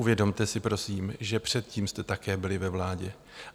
Uvědomte si prosím, že předtím jste také byli ve vládě.